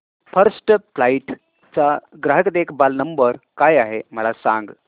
first flight चा ग्राहक देखभाल नंबर काय आहे मला सांग